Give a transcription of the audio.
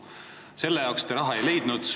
Selleks te raha ei leidnud.